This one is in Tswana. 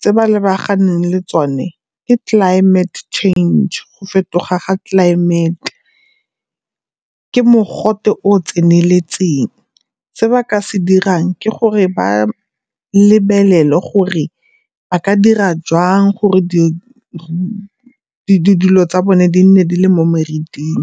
tse ba lebaganeng le tsone ke climate change, go fetoga ga tlelaemete. Ke mogote o o tseneletseng. Se ba ka se dirang ke gore ba lebelele gore ba ka dira jang gore di dilo tsa bone di nne di le mo meriting.